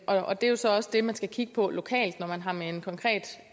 og det er jo så også det man skal kigge på lokalt når man har med en konkret